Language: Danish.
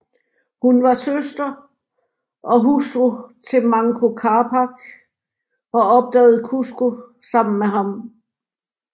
Hun var søster og hustru til Manco Capac og opdagede Cusco sammen med ham